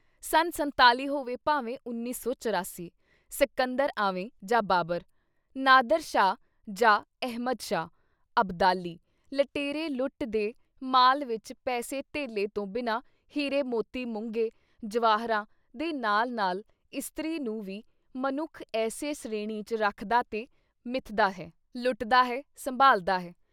ਸੰਨ ਸੰਤਾਲੀ ਹੋਵੇ ਭਾਵੇਂ ਉੱਨੀ ਸੌ ਚੁਰਾਸੀ, ਸਕੰਦਰ ਆਵੇ ਜਾਂ ਬਾਬਰ, ਨਾਦਿਰ ਸ਼ਾਹ ਜਾਂ ਅਹਿਮਦ ਸ਼ਾਹ ਅਬਦਾਲੀ ਲਟੇਰੇ ਲੁੱਟ ਦੇ ਮਾਲ ਵਿੱਚ ਪੈਸੇ ਧੇਲੇ ਤੋਂ ਬਿਨਾਂ ਹੀਰੇ ਮੋਤੀ ਮੁੰਗੇ, ਜਵਾਹਰਾਂ ਦੇ ਨਾਲ਼-ਨਾਲ਼ ਇਸਤਰੀ ਨੂੰ ਵੀ ਮਨੁੱਖ ਏਸੇ ਸ੍ਰੇਣੀ ਚ ਰੱਖਦਾ ਤੇ ਮਿਥਦਾ ਹੈ, ਲੁੱਟਦਾ ਹੈ, ਸੰਭਾਲਦਾ ਹੈ।